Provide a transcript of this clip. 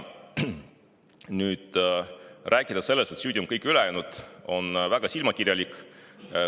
Rääkida sellest, et süüdi on kõik ülejäänud, on väga silmakirjalik.